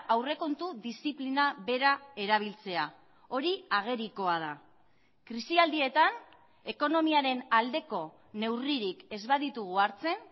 aurrekontu diziplina bera erabiltzea hori agerikoa da krisialdietan ekonomiaren aldeko neurririk ez baditugu hartzen